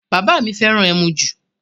Bàbá mi fẹ́ràn ẹmu ju